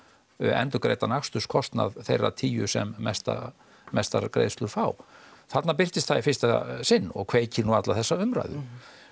endurgreiddan aksturskostnað þeirra tíu sem mestar mestar greiðslur fá þarna birtist það í fyrsta sinn og kveikir nú alla þessa umræðu